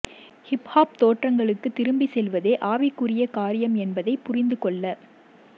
hip hop தோற்றங்களுக்கு திரும்பிச் செல்வதே ஆவிக்குரிய காரியம் என்பதை புரிந்து கொள்ள